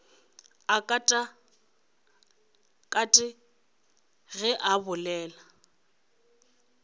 a katakate ge a bolela